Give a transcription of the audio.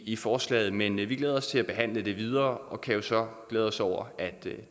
i forslaget men vi glæder os til at behandle det videre og kan jo så glæde os over at